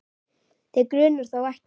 Þig grunar þó ekki?